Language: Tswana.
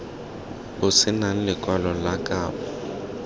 bo senang lekwalo la kabo